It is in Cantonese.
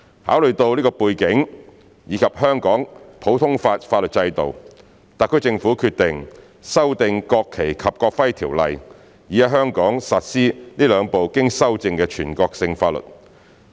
考慮到這個背景，以及香港的普通法法律制度，特區政府決定修訂《國旗及國徽條例》，以在香港實施這兩部經修正的全國性法律。